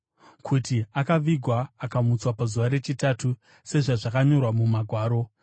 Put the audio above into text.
kuti akavigwa, akamutswa pazuva rechitatu sezvazvakanyorwa muMagwaro,